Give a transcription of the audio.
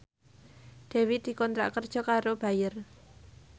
Dewi dikontrak kerja karo Bayer